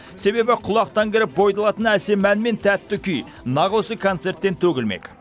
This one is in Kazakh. себебі құлақтан кіріп бойды алатын әсем ән мен тәтті күй нақ осы концерттен төгілмек